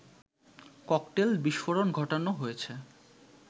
cocktail বিস্ফোরণ ঘটানো হয়েছে